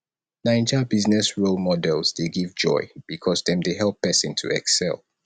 naija business role models dey give joy becuase dem dey help pesin to excel